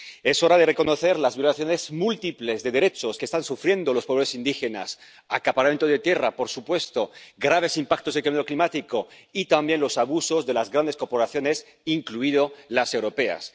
Es hora de reconocer las múltiples violaciones de derechos que están sufriendo los pobres indígenas acaparamiento de tierras —por supuesto—, graves impactos del cambio climático y también los abusos de las grandes corporaciones —incluidas las europeas—.